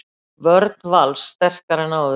Vörn Vals sterkari en áður